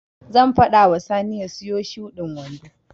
Zan faɗa wa Sani ya siyo shudin wando.